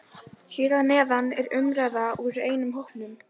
Hann settist en sá ekki inn í lokrekkjuna.